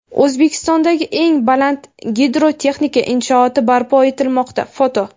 O‘zbekistondagi eng baland gidrotexnika inshooti barpo etilmoqda (foto).